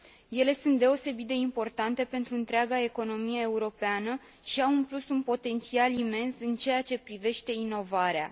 Ele sunt deosebit de importante pentru întreaga economie europeană și au, în plus, un potențial imens în ceea ce privește inovarea.